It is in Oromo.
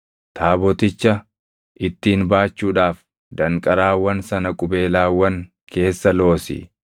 Taaboticha ittiin baachuudhaaf danqaraawwan sana qubeelaawwan keessa loosi.